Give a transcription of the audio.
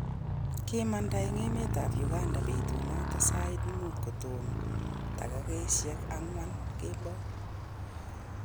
Kimada en emet ab Uganda betu noton sait muut kotomo tagigosiek agwan kemboi.